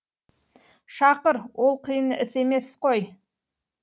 шақыр ол қиын іс емес қой